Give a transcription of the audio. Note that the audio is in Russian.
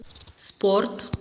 спорт